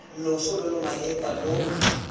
loso lo lo malepa lo